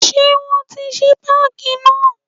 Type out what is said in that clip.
Ṣé wọn tí ṣí páàkì náà.